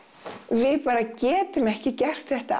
við bara getum ekki gert þetta